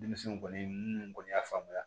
Denmisɛnw kɔni minnu kɔni y'a faamuya